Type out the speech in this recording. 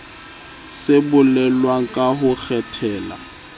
se bolelwang ka ho kgethela